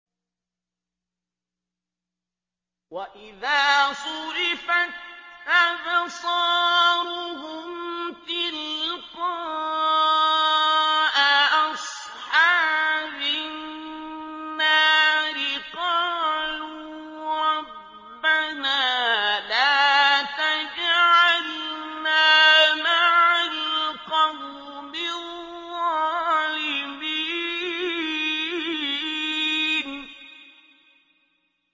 ۞ وَإِذَا صُرِفَتْ أَبْصَارُهُمْ تِلْقَاءَ أَصْحَابِ النَّارِ قَالُوا رَبَّنَا لَا تَجْعَلْنَا مَعَ الْقَوْمِ الظَّالِمِينَ